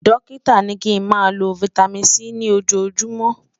Dókítà ní kí n má ló fìtámín C ní ojó júùmọ̀